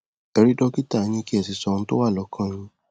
ẹ rí dọkítà yín kí ẹ sì sọ ohun tó wà lọkàn yín